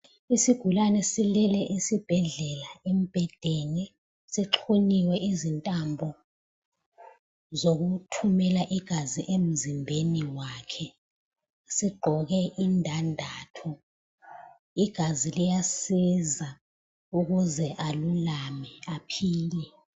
Isigulane silele esibhedlela embhedeni sixhunyiwe izintambo zokuthumela igazi emzimbeni wakhe. Zigqoke indandatho. Igazi liyasiza ukuze alulame aphile.